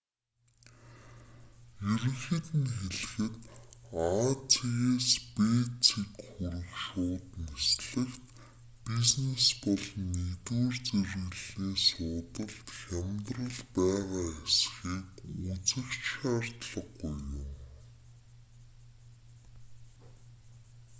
ерөнхийд нь хэлэхэд а цэгээс б цэг хүрэх шууд нислэгт бизнес болон нэгдүгээр зэрэглэлийн суудалд хямдрал байгаа эсхийг үзэх ч шаардлаггүй юм